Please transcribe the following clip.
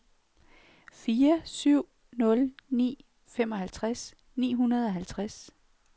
fire syv nul ni femoghalvtreds ni hundrede og halvtreds